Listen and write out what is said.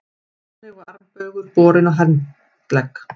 Þannig var armbaugur borinn á handlegg.